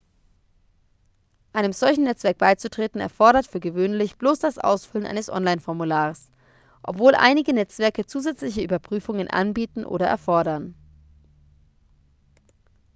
einem solchen netzwerk beizutreten erfordert für gewöhnlich bloß das ausfüllen eines online-formulars obwohl einige netzwerke zusätzliche überprüfungen anbieten oder erfordern